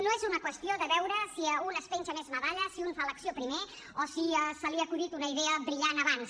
no és una qüestió de veure si un es penja més medalles si un fa l’acció primer o si se li ha acudit una idea brillant abans